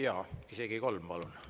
Jaa, isegi kolm, palun!